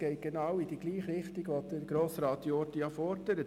Er ging in dieselbe Richtung wie die Forderung von Grossrat Jordi.